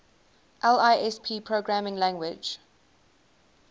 lisp programming language